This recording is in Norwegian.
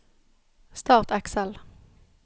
Start Excel